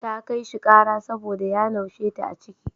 Ta kai shi ƙara saboda ya naushe ta a ciki.